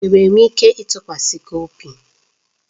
Enwere m ike ịtụkwasị gị obi?